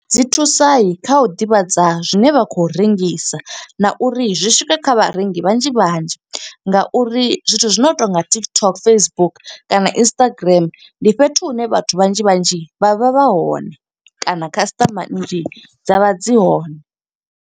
Dzi thusa kha u ḓivhadza zwine vha khou rengisa na uri zwi swike kha vharengi vhanzhi vhanzhi. Nga uri zwithu zwino to nga TikTok, Facebook, kana Instagram, ndi fhethu hune vhathu vhanzhi vhanzhi vha vha vha hone, kana khasiṱama nnzhi dza vha dzi hone.